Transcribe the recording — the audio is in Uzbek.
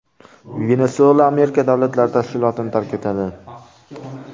Venesuela Amerika davlatlari tashkilotini tark etadi.